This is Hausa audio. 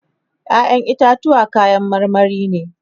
ƴaƴan itatuwa kayan marmari ne